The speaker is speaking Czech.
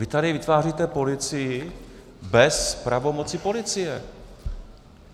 Vy tady vytváříte policii bez pravomocí policie.